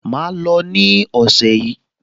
Màá lò ó ní ọ̀sẹ̀ yìí